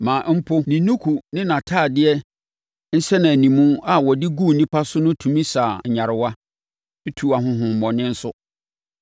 maa mpo ne nnuku ne nʼatadeɛ nsɛnanimu a wɔde guu nnipa so no tumi saa nyarewa, tuu ahonhommɔne nso.